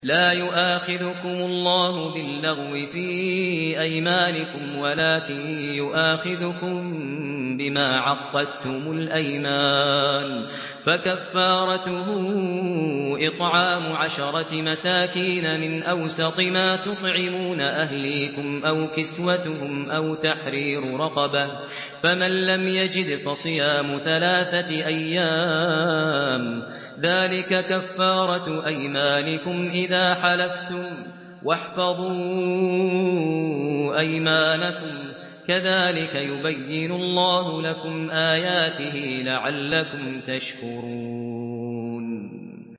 لَا يُؤَاخِذُكُمُ اللَّهُ بِاللَّغْوِ فِي أَيْمَانِكُمْ وَلَٰكِن يُؤَاخِذُكُم بِمَا عَقَّدتُّمُ الْأَيْمَانَ ۖ فَكَفَّارَتُهُ إِطْعَامُ عَشَرَةِ مَسَاكِينَ مِنْ أَوْسَطِ مَا تُطْعِمُونَ أَهْلِيكُمْ أَوْ كِسْوَتُهُمْ أَوْ تَحْرِيرُ رَقَبَةٍ ۖ فَمَن لَّمْ يَجِدْ فَصِيَامُ ثَلَاثَةِ أَيَّامٍ ۚ ذَٰلِكَ كَفَّارَةُ أَيْمَانِكُمْ إِذَا حَلَفْتُمْ ۚ وَاحْفَظُوا أَيْمَانَكُمْ ۚ كَذَٰلِكَ يُبَيِّنُ اللَّهُ لَكُمْ آيَاتِهِ لَعَلَّكُمْ تَشْكُرُونَ